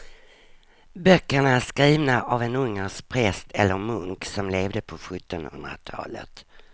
Böckerna är skrivna av en ungersk präst eller munk som levde på sjuttonhundratalet.